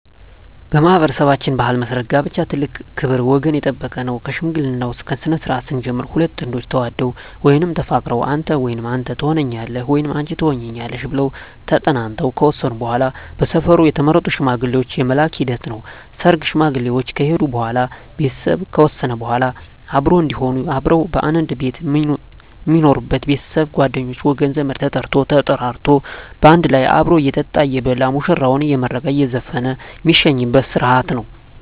በማኅበረሠባችን ባሕል መሠረት ጋብቻ ትልቅ ክብር ወገን የጠበቀ ነው ከሽምግልናው ስነስርዓት ስንጀምር ሁለት ጥንዶች ተዋደው ወይም ተፋቅረው አንተ ወይም አንተ ተሆነኛለህ ወይም አንች ትሆኝኛለሽ ብለው ተጠናንተው ከወሰኑ በዋላ በሰፈሩ የተመረጡ ሽማግሌዎች የመላክ ሂደት ነው ሰርግ ሽማግሌዎች ከሄዱ በዋላ ቤተሰብ ከወሰነ በዋላ አብሮ እዴሆኑ አብረው ከአንድ ቤት ሜኖሩበች ቤተሰብ ጓደኞቼ ወገን ዘመድ ተጠርቶ ተጠራርቶ ባንድ ላይ አብሮ እየጠጣ እየበላ ሙሽራዎችን አየመረቀ እየዘፈነ ሜሸኝበት ስረሀት ነው